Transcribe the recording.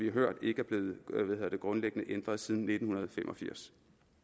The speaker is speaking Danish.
har hørt ikke er blevet grundlæggende ændret siden nitten fem og firs